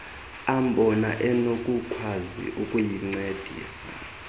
ambona enokukwazi ukuyincedisa